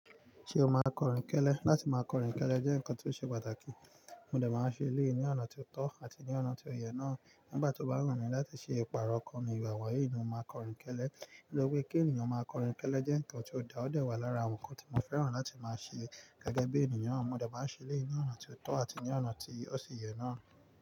Ṣé o máa n kọrìn kẹ́lẹ́? Láti máa kọrìn kẹ́lẹ́ jẹ́ nǹkan ti ó ṣe pàtàkì. Mo dè máa n ṣe eleyi ní ọ̀nà ti ó tọ́ àti ní ọ̀nà tí ó yẹ náà. Nígbà tó bá wù mí láti ṣe ìpààrọ̀ okan ní, igba wonyin ni mo máa kọrìn kẹ́lẹ́. Nitori pé kí ènìyàn máa kọrìn kẹ́lẹ́ jẹ́ nǹkan ti ó da, ó dẹ̀ wà lára awon nǹkan tí mo fẹ́ràn láti máa ṣe gẹ́gẹ́ bí ènìyàn. Mo dè máa n ṣe eleyi ní ọ̀nà ti ó tọ́ àti ní ọ̀nà tí ó ṣi yẹ náà.